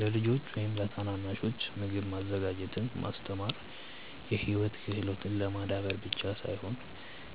ለልጆች ወይም ለታናናሾች ምግብ ማዘጋጀትን ማስተማር የህይወት ክህሎትን ለማዳበር ብቻ ሳይሆን